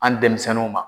An denmisɛnninw ma